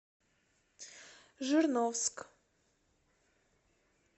жирновск